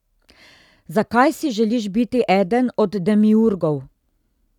Zakaj si želiš biti eden od demiurgov?